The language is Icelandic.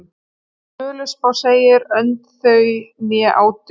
Í Völuspá segir: Önd þau né áttu,